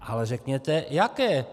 Ale řekněte jaké.